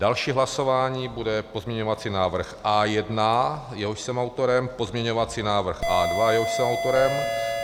Další hlasování bude pozměňovací návrh A1, jehož jsem autorem, pozměňovací návrh A2, jehož jsem autorem.